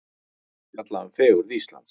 Fjalla um fegurð Íslands